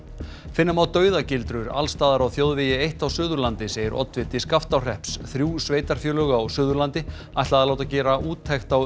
finna má dauðagildrur alls staðar á þjóðvegi eitt á Suðurlandi segir oddviti Skaftárhrepps þrjú sveitarfélög á Suðurlandi ætla að láta gera úttekt á